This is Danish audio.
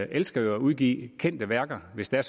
elsker jo at udgive kendte værker hvis det er